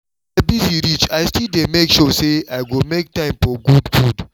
as i busy reach i still dey make sure say i go make time for good food